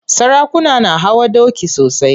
Sarakuna na hawa doki sosai.